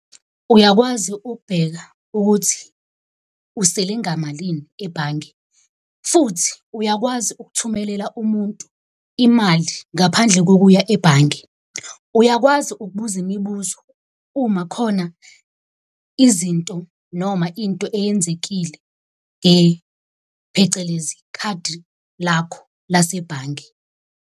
Uyakwazi ukubheka ukuthi usele ngamalini ebhange, futhi uyakwazi ukuthumelela umuntu imali ngaphandle kokuya ebhange. Uyakwazi ukubuza imibuzo uma khona izinto noma into eyenzekile , phecelezi khadi lakho lasebhange.